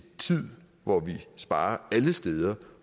tid hvor vi sparer alle steder